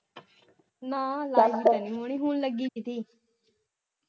ਨਾ ਲਾਇ ਹੋਣੀ ਹੁਣ ਲਗੀ ਤੇ ਸੀ